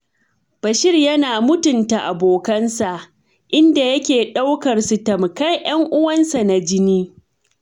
Bashir yana mutunta abokansa, inda yake ɗaukar su tamkar 'yan uwansa na jini.